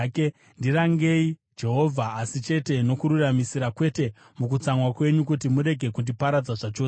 Ndirangei, Jehovha, asi chete nokururamisira, kwete mukutsamwa kwenyu, kuti murege kundiparadza zvachose.